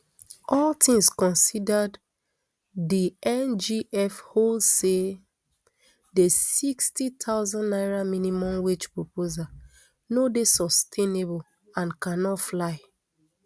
all tins considered di ngf holds say di sixty thousand naira minimum wage proposal no dey sustainable and can not fly